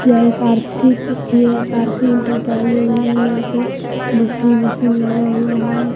यह एक आरती के यह एक आरती इंटरप्राइजेज है यहां पे मशीन ओशिन लगा हुआ है।